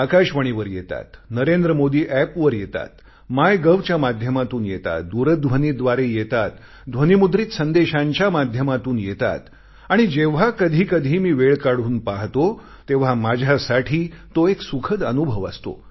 आकाशवाणीवर येतात NarendraModiApp वर येतात मायगव्हच्या माध्यमातून येतात दूरध्वनीद्वारे येतात ध्वनिमुद्रित संदेशांच्या माध्यमातून येतात आणि जेव्हा कधीकधी मी वेळ काढून पाहतो तेव्हा माझ्यासाठी तो एक सुखद अनुभव असतो